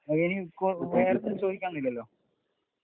വേറൊന്നും ചോദിക്കാനില്ലല്ലോ.